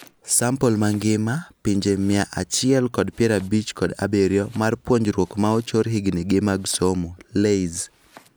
Sample mangima (pinje mia achiel kod piero abich kod abirio) mar puonjruok maochor higni gi mag somo (LAYS)